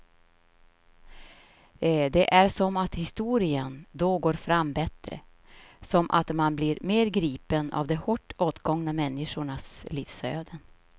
Det är som att historien då går fram bättre, som att man blir mer gripen av de hårt åtgångna människornas livsöden.